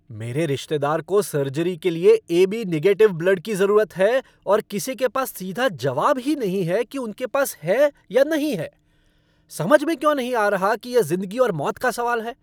मेरे रिश्तेदार को सर्जरी के लिए ए.बी. निगेटिव ब्लड की ज़रूरत है और किसी के पास सीधा जवाब ही नहीं है कि उनके पास है या नहीं है। समझ में क्यों नहीं आ रहा कि यह ज़िंदगी और मौत का सवाल है!